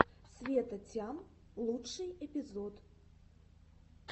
света тям лучший эпизод